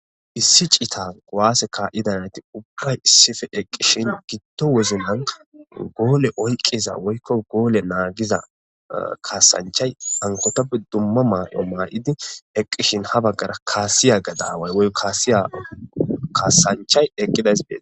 issi cita guwaase kaa7idanati ubray issife eqqishin gitto woznan goole oyqiza woykko goole naagiza kaasanchay ankotoppe dumma maay7o maa7idi eqqishin ha baggara kaasiya gadaaway woy kaasiya kaasanchay eqqidaysbee